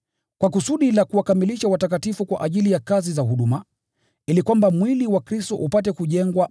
kwa kusudi la kuwakamilisha watakatifu kwa ajili ya kazi za huduma, ili kwamba mwili wa Kristo upate kujengwa